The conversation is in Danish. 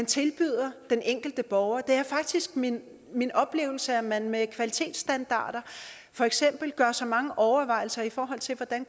tilbyder den enkelte borger det er faktisk min min oplevelse at man med kvalitetsstandarder for eksempel gør sig mange overvejelser i forhold til hvordan